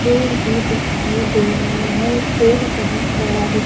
पेड़ भी दिखाई दे रहा है पेड़ बहोत बड़ा--